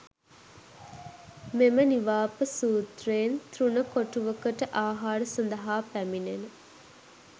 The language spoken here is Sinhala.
මෙම නිවාප සූත්‍රයෙන් තෘණ කොටුවකට ආහාර සඳහා පැමිණෙන